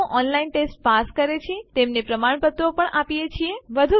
જેઓ online test pass કરે છે તેમને પ્રમાણપત્રો પણ આપીએ છીએ